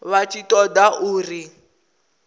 vha tshi ṱo ḓa uri